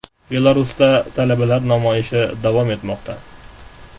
Belarusda talabalar namoyishlari davom etmoqda.